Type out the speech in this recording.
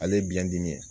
Ale ye biyɛndimi ye